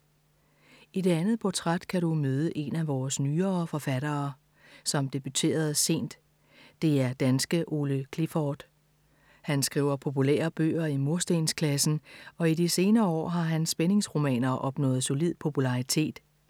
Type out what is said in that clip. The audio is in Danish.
I det andet portræt kan du møde en af vores nyere forfattere, som debuterede sent. Det er danske Ole Clifford. Han skriver populære bøger i murstensklassen og de senere år har hans spændingsromaner opnået solid popularitet.